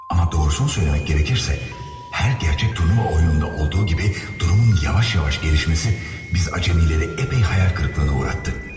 Amma doğrusunu söyləmək gərəkirsə, hər gərçək turnuva oyununda olduğu kimi, durumun yavaş-yavaş gəlişməsi biz acəmiləri əpey xəyal qırıqlığına uğratdı.